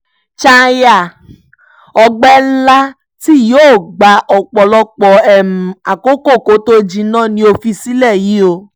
chalya ọgbẹ́ ńlá tí yóò gba ọ̀pọ̀lọpọ̀ àkókò kó tóó jinná ni ó fi sílẹ̀ yìí o